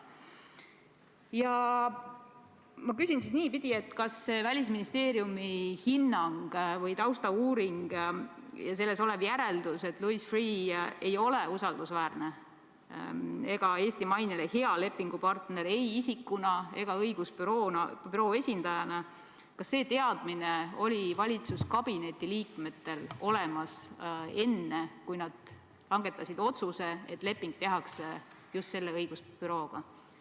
Ja ma küsin siis niipidi: kas Välisministeeriumi hinnang või taustauuring ja selles olev järeldus, et Louis Freeh ei ole usaldusväärne ega Eesti mainele hea lepingupartner ei isikuna ega õigusbüroo esindajana, kas see teadmine oli valitsuskabineti liikmetel olemas enne, kui nad langetasid otsuse, et leping tehakse just selle õigusbürooga?